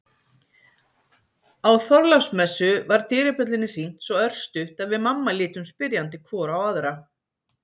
Á Þorláksmessu var dyrabjöllunni hringt svo örstutt að við mamma litum spyrjandi hvor á aðra.